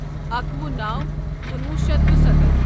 اکوُہ نَو کنُوُہ شیتھ دُسَتتھ